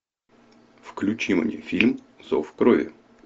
включи мне фильм зов крови